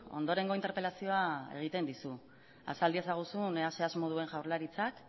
ondorengo interpelazioa egiten dizu azal diezaguzun ea ze asmo duen jaurlaritzak